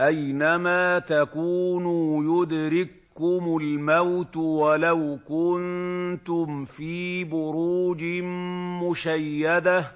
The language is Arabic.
أَيْنَمَا تَكُونُوا يُدْرِككُّمُ الْمَوْتُ وَلَوْ كُنتُمْ فِي بُرُوجٍ مُّشَيَّدَةٍ ۗ